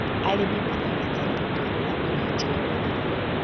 Arĩmi marabatara gũkorwo na ũnyiti wa mathoko.